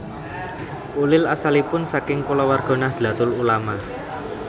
Ulil asalipun saking kulawarga Nahdlatul Ulama